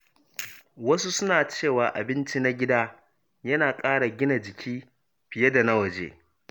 Wasu suna cewa abinci na gida yana ƙara gina jiki fiye da na waje.